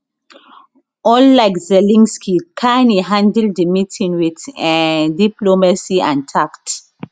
unlike zelensky carney handle di meeting with um diplomacy and tact